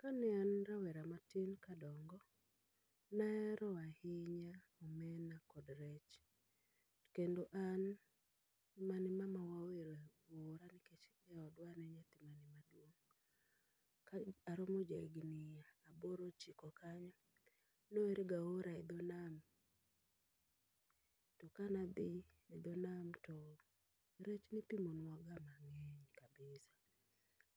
Kane an rawera matin kadongo, naero ahinya omena kod rech. Kendo an mane mamawa ohero ora nikech e odwa an e nyathi mane maduong'. Ka aromo ja higni aboro ochiko kanyo, noher ga ora e dho nam, to kana dhi e dho nam to rech nipimonwa ga mang'eny kabisa.